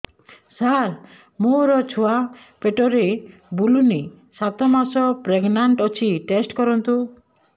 ସାର ମୋର ଛୁଆ ପେଟରେ ବୁଲୁନି ସାତ ମାସ ପ୍ରେଗନାଂଟ ଅଛି ଟେଷ୍ଟ କରନ୍ତୁ